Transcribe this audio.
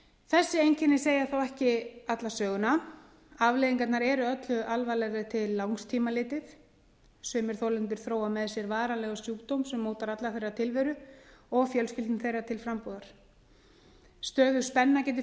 þessi einkenni segja þó ekki alla söguna afleiðingarnar eru öllu alvarlegri til langs tíma litið sumir þolendur þróa með sér varanlegan sjúkdóm sem mótar alla tilveru þeirra og fjölskyldna þeirra til frambúðar stöðug spenna getur